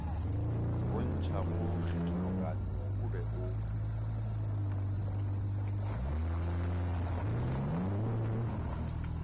bontšhago kgethologanyo o be o